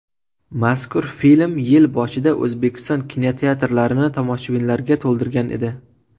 Mazkur film yil boshida O‘zbekiston kinoteatrlarini tomoshabinlarga to‘ldirgan edi .